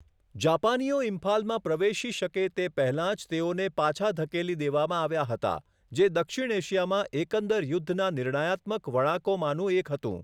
જાપાનીઓ ઇમ્ફાલમાં પ્રવેશી શકે તે પહેલા જ તેઓને પાછા ધકેલી દેવામાં આવ્યા હતા, જે દક્ષિણ એશિયામાં એકંદર યુદ્ધના નિર્ણયાત્મક વળાંકોમાંનું એક હતું.